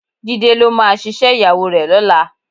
Jídé ló máa ṣiṣẹ́ ìyàwó rẹ̀ lọ́la